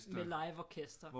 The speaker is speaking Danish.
Med liveorkester